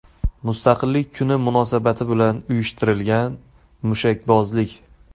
Mustaqillik kuni munosabati bilan uyushtirilgan mushakbozlik.